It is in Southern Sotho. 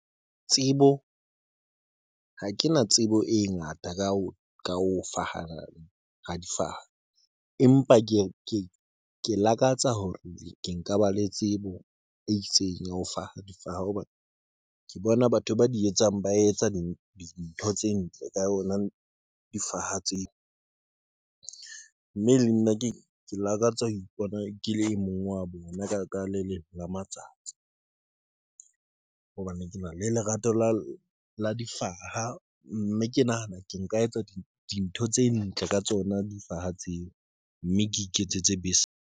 Tsebo ha ke na tsebo e ngata ka ho ka ho fana ka difaha, empa ke lakatsa hore ke nka ba le tsebo e itseng ya ho difaha hobane ke bona batho ba di etsang. Ba etsa dintho tse ntle ka yona difaha tseo mme le nna ke lakatsa ho ipona ke le e mong wa bona ka le lemong ka matsatsi, hobane ke na le lerato la difaha mme ke nahana ke nka etsa dintho tse ntle ka tsona difaha tseo, mme ke iketsetse .